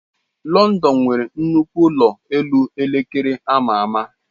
London nwere nnukwu ụlọ elu elekere ama ama.